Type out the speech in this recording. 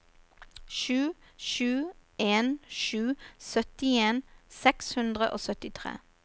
sju sju en sju syttien seks hundre og syttitre